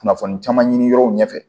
Kunnafoni caman ɲini yɔrɔ ɲɛfɛ